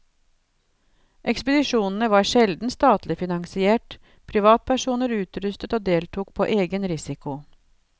Ekspedisjonene var sjelden statlig finansiert, privatpersoner utrustet og deltok på egen risiko.